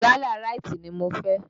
Gálà ráítì ni mo fẹ́.